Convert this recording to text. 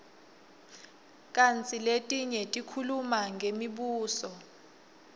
kantsi letinye tikhuluma ngemibuso